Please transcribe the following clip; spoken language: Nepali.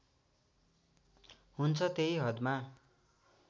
हुन्छ त्यही हदमा